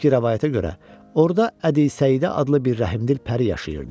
Əski rəvayətə görə, orda Ədisəidə adlı bir rəhmdil pəri yaşayırdı.